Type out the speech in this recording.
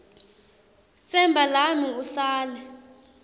tsemba lami usale